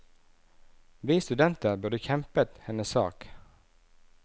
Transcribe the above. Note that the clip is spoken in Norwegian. Vi studenter burde kjempet hennes sak.